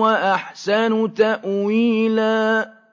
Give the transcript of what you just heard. وَأَحْسَنُ تَأْوِيلًا